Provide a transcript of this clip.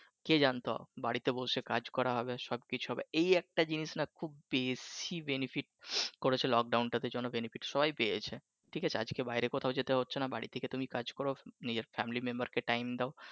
কে জানতো বাড়িতে বসে কাজ করা হবে সব কিছু হবে এই একটা জিনিস না খুব বেশি benefit করেছে lockdown টাতে এইজন্য benefit সবাই পেয়েছে ঠিক আছে আজকে বাহিরে কোথাও যেতে হচ্ছে নাহ বাড়ি থেকে তুমি কাজ করো নিজের family member time দাও